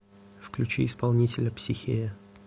включи исполнителя психея